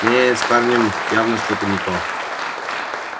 не с парнем явно что-то не то